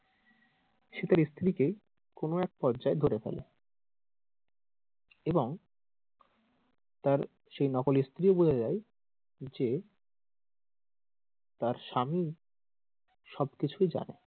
সে তার স্ত্রীকেই কোনো এক পর্যায়ে ধরে ফেলে এবং তার সেই নকল স্ত্রী বলে দেয় যে যে তার স্বামী সব কিছুই জানে,